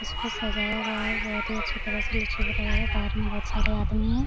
इसको सजाया गया है बहुत ही अच्छे तरह से निचे बनया गया बहार में बहुत सारे आदमी है।